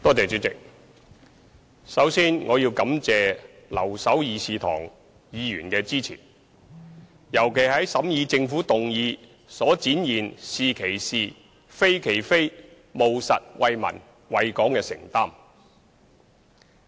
主席，首先我要感謝留守議事堂的議員的支持，尤其是在審議政府的休會待續議案時展現出"是其是、非其非"，務實為民、為港的承擔。